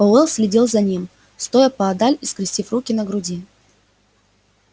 пауэлл следил за ним стоя поодаль и скрестив руки на груди